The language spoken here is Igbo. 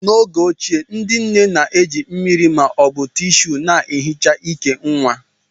N'oge ochie, ndị nne na-eji mmiri ma ọ bụ Tíshúú na-ehicha ìkè nwa